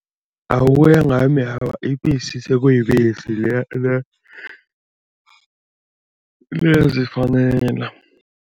Ukuyangami awa, ibisi sekuyibisi liyazifanela.